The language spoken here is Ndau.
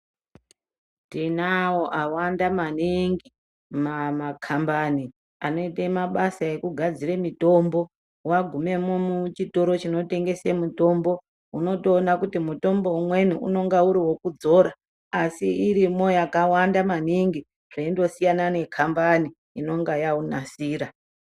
Tinawo awanda maningi makambani anoite zvekugadzire mitombo wagume muchitoro chinotengese mitombo unotoona kuti mutombo umweni unonga uriwekudzora asi irimo yakawande maningi zveingosiyana nekambani inonga yaunasira .